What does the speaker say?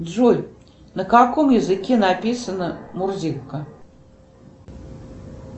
джой на каком языке написана мурзилка